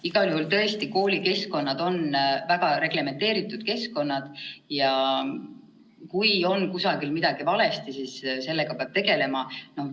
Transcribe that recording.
Igal juhul on koolikeskkonnad tõesti väga reglementeeritud keskkonnad ja kui kusagil on midagi valesti, siis sellega peab tegelema.